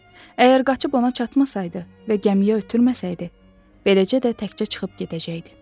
Əgər qaçıb ona çatmasaydı və gəmiyə ötürməsəydi, beləcə də təkcə çıxıb gedəcəkdi.